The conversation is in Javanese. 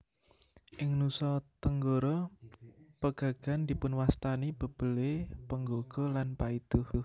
Ing Nusa Tenggara pegagan dipunwastani bebele penggaga lan paiduh